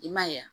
I m'a ye wa